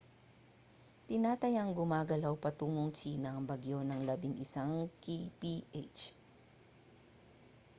tinatayang gumagalaw patungong tsina ang bagyo nang labing-isang kph